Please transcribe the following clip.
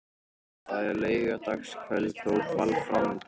Það er laugardagskvöld og ball framundan.